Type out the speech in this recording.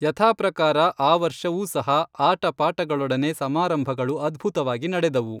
ಯಥಾಪ್ರಕಾರ ಆ ವರ್ಷವೂ ಸಹಾ ಆಟಪಾಟಗಳೊಡನೆ ಸಮಾರಂಭಗಳು ಅದ್ಭುತವಾಗಿ ನಡೆದವು